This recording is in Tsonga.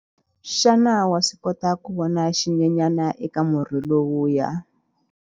Xana wa swi kota ku vona xinyenyana eka murhi lowuya?